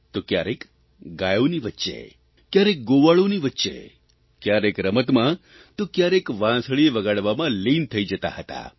તો કયારેક ગાયોની વચ્ચે કયારેક ગોવાળોની વચ્ચે કયારેક રમતમાં તો કયારેક વાંસળી વગાડવામાં લીન થઇ જતા હતા